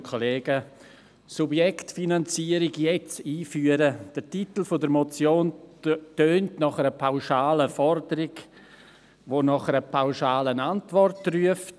«Subjektfinanzierung jetzt einführen» – der Titel der Motion tönt nach einer pauschalen Forderung, die nach einer pauschalen Antwort ruft.